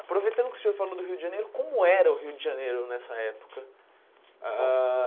Aproveitando que o senhor falou do Rio de Janeiro, como era o Rio de Janeiro nessa época? Ah ah